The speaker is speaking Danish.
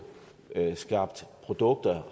skabt produkter